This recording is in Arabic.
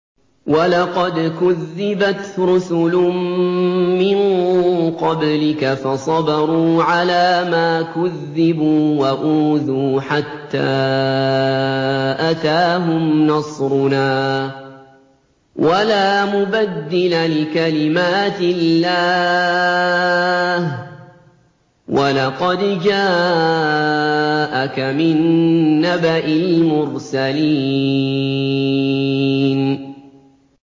وَلَقَدْ كُذِّبَتْ رُسُلٌ مِّن قَبْلِكَ فَصَبَرُوا عَلَىٰ مَا كُذِّبُوا وَأُوذُوا حَتَّىٰ أَتَاهُمْ نَصْرُنَا ۚ وَلَا مُبَدِّلَ لِكَلِمَاتِ اللَّهِ ۚ وَلَقَدْ جَاءَكَ مِن نَّبَإِ الْمُرْسَلِينَ